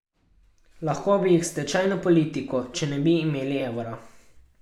Lahko bi jih s tečajno politiko, če ne bi imeli evra.